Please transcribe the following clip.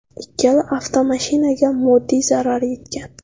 Ikkala avtomashinaga moddiy zarar yetgan.